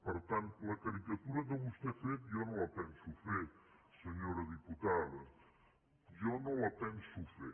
per tant la caricatura que vostè ha fet jo no la penso fer senyora diputada jo no la penso fer